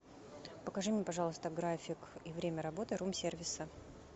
покажи мне пожалуйста график и время работы рум сервиса